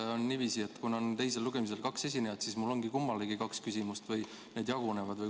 Kas on niiviisi, et kuna teisel lugemisel on kaks esinejat, siis mul on kummalegi kaks küsimust või need jagunevad?